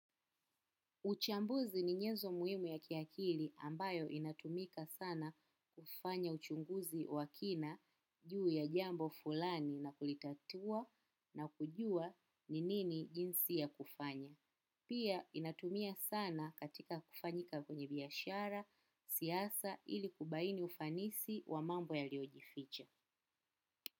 Uchambuzi ni nyenzo muhimu ya kiakili ambayo inatumika sana kufanya uchunguzi wa kina juu ya jambo fulani na kulitatua na kujua ni nini jinsi ya kufanya. Pia inatumia sana katika kufanyika kwenye biyashara siyasa ili kubaini ufanisi wa mambo ya liojificha.